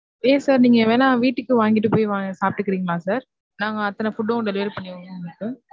ஏன் sir நீங்க வேனா வீட்டுக்கு வாங்கிட்டு போய் சாப்ட்டுக்குறிங்களா sir? நாங்க அத்தனை food வும் delivery பண்ணிருவோம் sir.